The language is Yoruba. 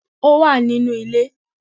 Ó wà nínú ilé